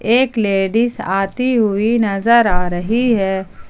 एक लेडिस आती हुई नजर आ रही है।